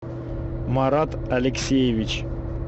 марат алексеевич